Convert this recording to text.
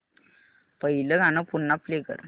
पहिलं गाणं पुन्हा प्ले कर